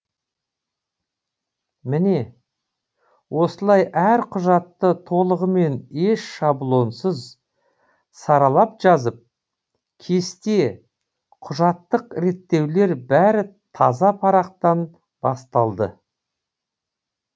міне осылай әр құжатты толығымен еш шаблонсыз саралап жазып кесте құжаттық реттеулер бәрі таза парақтан басталды